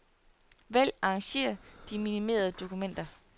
Vælg arrangér de minimerede dokumenter.